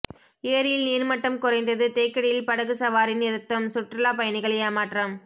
ஏரியில் நீர்மட்டம் குறைந்தது தேக்கடியில் படகு சவாரி நிறுத்தம் சுற்றுலாப்பயணிகள் ஏமாற்றம்